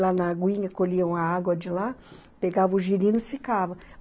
Lá na aguinha, colhiam a água de lá, pegavam o girino e ficavam.